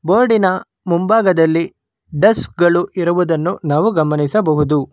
ಬೋರ್ಡ್ಡಿನ ಮುಂಭಾಗದಲ್ಲಿ ಡೆಸ್ಕ್ ಗಳು ಇರುವುದನ್ನು ನಾವು ಗಮನಿಸಬಹುದು.